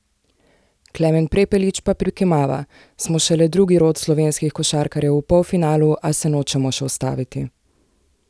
Klemen Prepelič pa prikimava: "Smo šele drugi rod slovenskih košarkarjev v polfinalu, a se nočemo še ustaviti.